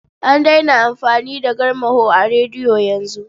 An daina amfani da garmaho a rediyo yanzu.